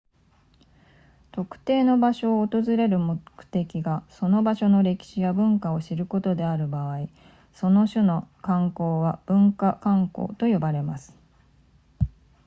特定の場所を訪れる目的がその場所の歴史や文化を知ることである場合その種の観光は文化観光と呼ばれます